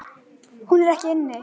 Er hún ekki inni?